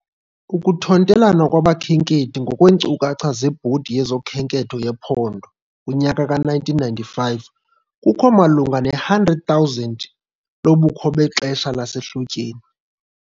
Ukuthontelana kwabakhenkethi, ngokweenkcukacha zeBhodi yezoKhenketho yePhondo, kunyaka ka -1995, kukho malunga ne-100,000 lobukho bexesha lasehlotyeni.